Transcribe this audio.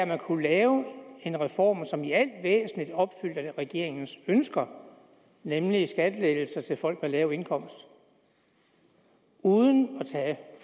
man kunne lave en reform som i al væsentligt opfyldte regeringens ønsker nemlig om skattelettelser til folk med lav indkomst uden